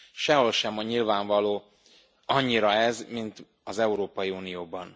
Sehol sem nyilvánvaló annyira ez, mint az Európai Unióban.